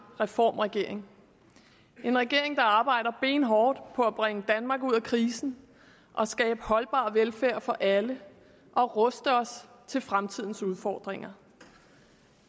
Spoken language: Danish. reformregering en regering der arbejder benhårdt på at bringe danmark ud af krisen og skabe holdbar velfærd for alle og ruste os til fremtidens udfordringer